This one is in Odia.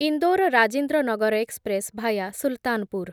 Indore Rajendranagar express via Sultanpur